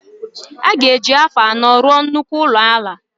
Aga eji afọ anọ rụọ nnukwu ụlọ ala